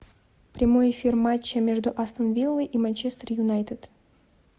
прямой эфир матча между астон виллой и манчестер юнайтед